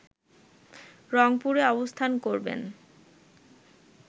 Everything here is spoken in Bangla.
রংপুরে অবস্থান করবেন